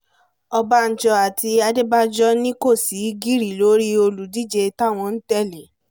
ọ̀bánjọ́ àti adébànjọ ni kò sì gírí lórí olùdíje táwọn ń tẹ̀lé